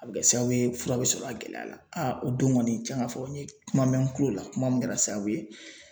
A bi kɛ sababu ye fura be sɔrɔ a gɛlɛya la a don kɔni cɛn ka fɔ n ye kuma mɛn n tulo la kuma min kɛra sababu ye